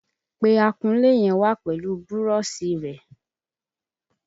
Pe akunlé yẹn wá pẹ̀lú búrọ́ṣì rẹ̀!